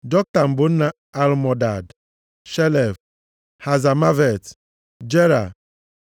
Joktan bụ nna Almodad, Shelef, Hazamavet, Jera,